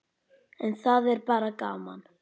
En það er bara gaman.